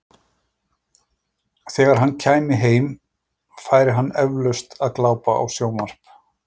Þegar hann kæmi heim, færi hann eflaust að glápa á sjónvarp.